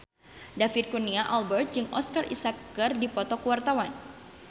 David Kurnia Albert jeung Oscar Isaac keur dipoto ku wartawan